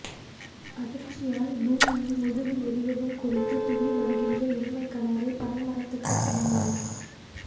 அதிர்ச்சியால் பூமியின் முதுகு நெரியவும் குதித்துத் துள்ளி வருகின்ற எருமைக்கடாவைப் பனை மரத்துக்குச் சமானமான